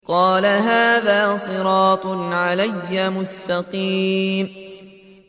قَالَ هَٰذَا صِرَاطٌ عَلَيَّ مُسْتَقِيمٌ